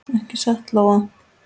Ekki satt, Lóa?